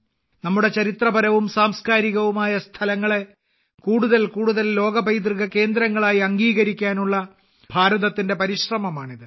നമ്മുടെ ചരിത്രപരവും സാംസ്കാരികവുമായ സ്ഥലങ്ങളെ കൂടുതൽ കൂടുതൽ ലോക പൈതൃക കേന്ദ്രങ്ങളായി അംഗീകരിക്കാനുള്ള ഭാരതത്തിന്റെ പരിശ്രമമാണിത്